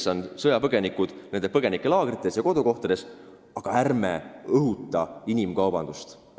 Toetagem sõjapõgenikke nende kodumaal ja põgenikelaagrites, aga ärme õhutame inimkaubandust!